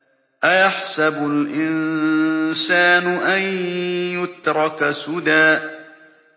أَيَحْسَبُ الْإِنسَانُ أَن يُتْرَكَ سُدًى